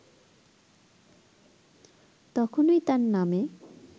তখনই তার নামে